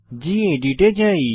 gedit এ যাই